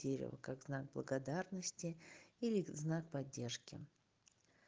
дерево как знак благодарности или знак поддержки